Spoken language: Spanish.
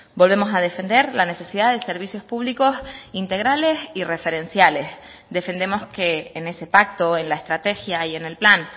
volvemos a defender la necesidad de servicios públicos integrales y referenciales defendemos que en ese pacto en la estrategia y en el plan